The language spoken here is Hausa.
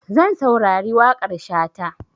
Zan saurari waƙar Shata.